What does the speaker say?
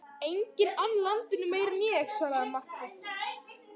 Enginn ann landinu meira en ég, svaraði Marteinn.